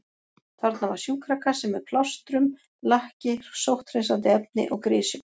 Þarna var sjúkrakassi með plástrum, lakki, sótthreinsandi efni og grysjum.